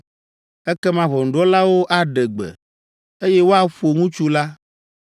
Ekema ʋɔnudrɔ̃lawo aɖe gbe, eye woaƒo ŋutsu la,